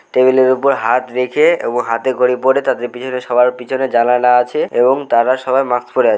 টেবিলের উপর হাত রেখে-এ এবং হাতে করে পড়ে তাদের পিছনে সবার পিছনে জানালা আছে এবং তারা সবাই মাস্ক পরে আ--